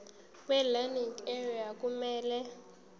welearning area kumele